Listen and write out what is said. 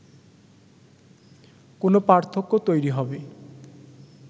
কোনো পার্থক্য তৈরি হবে